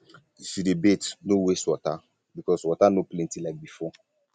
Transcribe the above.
if you dey bath no waste water because water no plenty like before